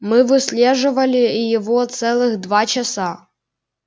мы выслеживали его целых два часа